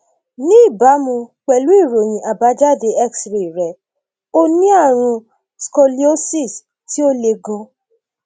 ní ìbámu pẹlú ìròyìn àbájáde xray rẹ ó ní ààrùn scoliosis tí ó le ganan